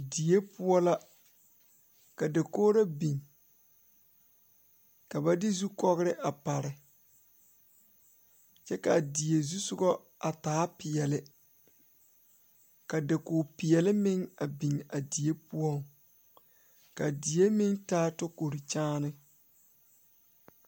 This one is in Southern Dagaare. Die la ka dɔɔba banuu a zɔŋ a a kuriwiire kaŋa eɛ ziɛ kyɛ taa peɛle kaa kuriwiire mine e sɔglɔ kyɛ ka konkobile fare a kuriwiire poɔ a e doɔre.